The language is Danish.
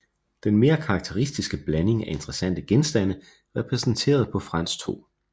Den mere karakteristiske blanding af interessante genstande repræsenteret på Frans 2